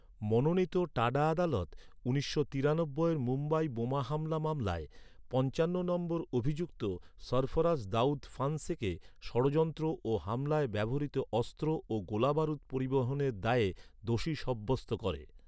মনোনীত টাডা আদালত, উনিশশো তিরানব্বইয়ের মুম্বাই বোমা হামলা মামলায়, পঞ্চান্ন নম্বর অভিযুক্ত, সরফরাজ দাউদ ফান্সেকে ষড়যন্ত্র ও হামলায় ব্যবহৃত অস্ত্র ও গোলাবারুদ পরিবহনের দায়ে দোষী সাব্যস্ত করে।